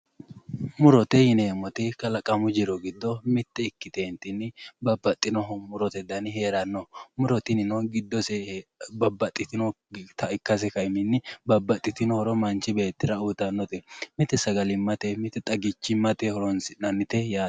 Murote yineemmoti kalaqamu jiro giddo mitte ikkiteentinni babbaxxino murote dani hee'ranno muro tinino giddose babbaxxitinota ikkase ka'inohunni babbaxxitino horo manchi beettira uytannote mite sagalimmate mite xagichimmate horonsi'nannite yaate.